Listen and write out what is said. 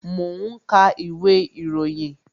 Mo ń ka ìwé ìròyìn